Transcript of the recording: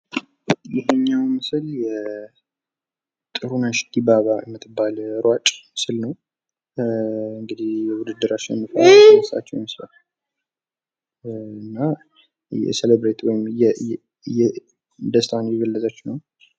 ይህኛው ምስል ጥሩነሽ ድባባ የምትባል ሯጭ ምስል ነው። እንግድህ በውድድር አሸንፋ የተነሳችው ምስል ነው። እና ደስታዋን እየገለጠች ነው።